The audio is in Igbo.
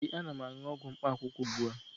ee, ana m aṅụ ọgwụ mkpaakwụkwọ ugbu a